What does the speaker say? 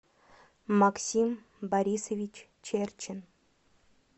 максим борисович черчин